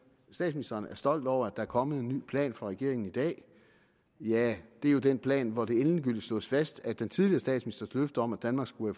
statsministeren er stolt over at der er kommet en ny plan fra regeringen i dag ja det er jo den plan hvori det endegyldigt slås fast at den tidligere statsministers løfte om at danmark skulle